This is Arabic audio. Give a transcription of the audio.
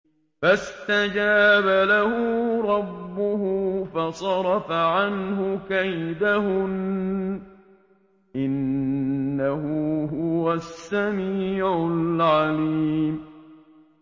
فَاسْتَجَابَ لَهُ رَبُّهُ فَصَرَفَ عَنْهُ كَيْدَهُنَّ ۚ إِنَّهُ هُوَ السَّمِيعُ الْعَلِيمُ